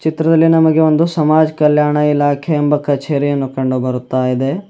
ಚಿತ್ರದಲ್ಲಿ ನಮಗೆ ಒಂದು ಸಮಾಜ್ ಕಲ್ಯಾಣ ಇಲಾಖೆ ಕಛೇರಿಯನ್ನು ಕಂಡು ಬರುತ್ತಾಯಿದೆ.